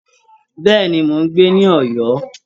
Bẹ́ẹ̀ nu, mò ń gbé ní Ọ̀yọ́